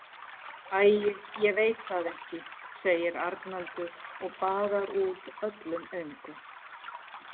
Æi, ég veit það ekki, segir Arnaldur og baðar út öllum öngum.